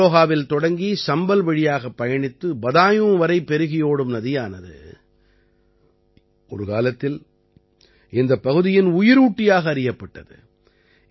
அம்ரோஹாவில் தொடங்கி சம்பல் வழியாகப் பயணித்து பதாயூன் வரை பெருகியோடும் நதியானது ஒரு காலத்தில் இந்தப் பகுதியின் உயிரூட்டியாக அறியப்பட்டது